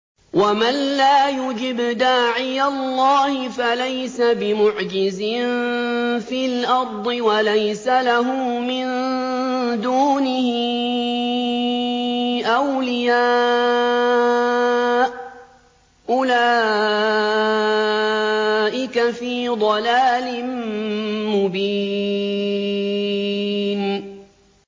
وَمَن لَّا يُجِبْ دَاعِيَ اللَّهِ فَلَيْسَ بِمُعْجِزٍ فِي الْأَرْضِ وَلَيْسَ لَهُ مِن دُونِهِ أَوْلِيَاءُ ۚ أُولَٰئِكَ فِي ضَلَالٍ مُّبِينٍ